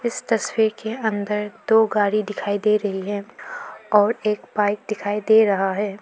इस तस्वीर के अंदर दो गाड़ी दिखाई दे रही है और एक बाइक दिखाई दे रहा है।